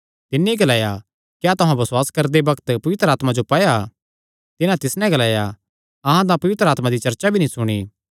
तिन्नी ग्लाया क्या तुहां बसुआस करदे बग्त पवित्र आत्मा जो पाया तिन्हां तिस नैं ग्लाया अहां तां पवित्र आत्मा दी चर्चा भी नीं सुणी